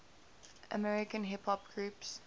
american hip hop groups